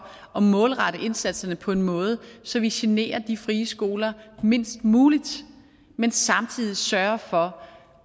at målrette indsatserne på en måde så vi generer de frie skoler mindst muligt men samtidig sørge for